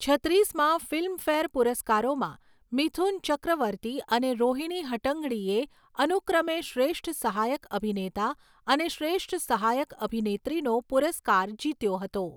છત્રીસમા Filmfare પુરસ્કારોમાં, મિથુન ચક્રવર્તી અને રોહિણી હટ્ટંગડીએ અનુક્રમે શ્રેષ્ઠ સહાયક અભિનેતા અને શ્રેષ્ઠ સહાયક અભિનેત્રીનો પુરસ્કાર જીત્યો હતો.